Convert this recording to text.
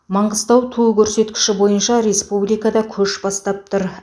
маңғыстау туу көрсеткіші бойынша республикада көш бастап тұр